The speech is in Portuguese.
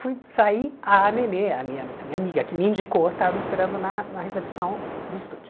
Fui sair, a Nenê, a minha a minha amiga que me indicou, estava me esperando na na recepção do estúdio.